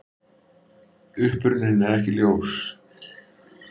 Uppruninn er ekki ljós.